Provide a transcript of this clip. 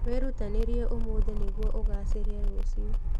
Wĩrutanĩrie ũmũthĩ nĩguo ũgaacĩre rũciũ.